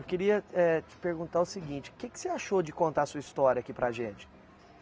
Eu queria eh te perguntar o seguinte, o que que você achou de contar a sua história aqui para a gente?